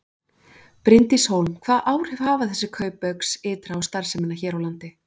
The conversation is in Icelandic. Bryndís Hólm: Hvaða áhrif hafa þessi kaup Baugs ytra á starfsemina hér á landi?